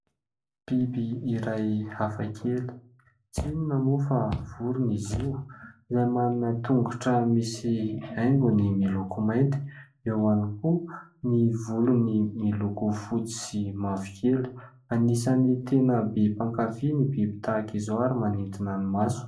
Biby iray hafakely tsy inona moa fa vorona izy io izay manana tongotro misy haingony miloko mainty, eo ihany koa ny volony miloko fotsy sy mavokely. Anisany tena be mpakafy ny biby tahaka izao ary manintona ny maso.